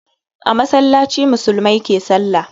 A masallaci musulmai ke sallah.